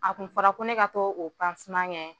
A kun fɔra ko ne ka taa o kɛ.